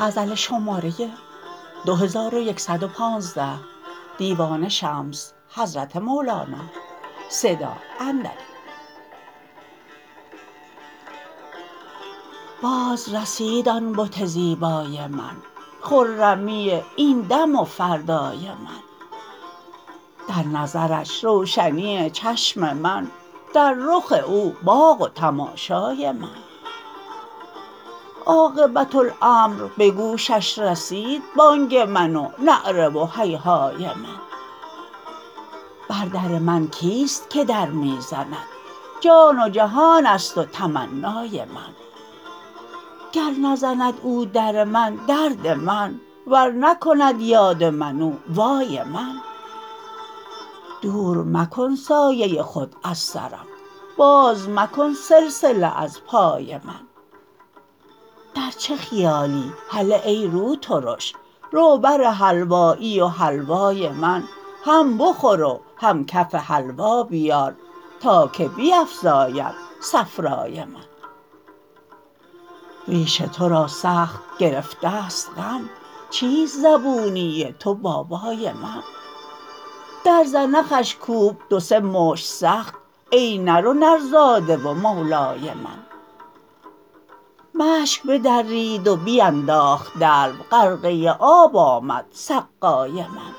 بازرسید آن بت زیبای من خرمی این دم و فردای من در نظرش روشنی چشم من در رخ او باغ و تماشای من عاقبت امر به گوشش رسید بانگ من و نعره و هیهای من بر در من کیست که در می زند جان و جهان است و تمنای من گر نزند او در من درد من ور نکند یاد من او وای من دور مکن سایه خود از سرم باز مکن سلسله از پای من در چه خیالی هله ای روترش رو بر حلوایی و حلوای من هم بخور و هم کف حلوا بیار تا که بیفزاید صفرای من ریش تو را سخت گرفته ست غم چیست زبونی تو بابای من در زنخش کوب دو سه مشت سخت ای نر و نرزاده و مولای من مشک بدرید و بینداخت دلو غرقه آب آمد سقای من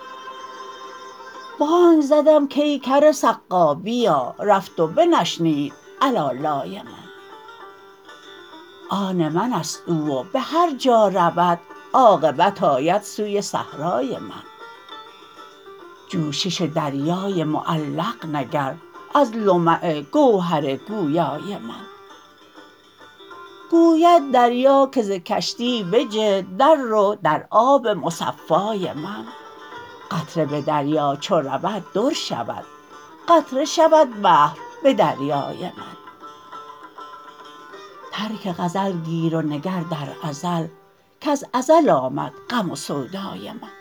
بانگ زدم کای کر سقا بیا رفت و بنشنید علالای من آن من است او و به هر جا رود عاقبت آید سوی صحرای من جوشش دریای معلق مگر از لمع گوهر گویای من گوید دریا که ز کشتی بجه دررو در آب مصفای من قطره به دریا چو رود در شود قطره شود بحر به دریای من ترک غزل گیر و نگر در ازل کز ازل آمد غم و سودای من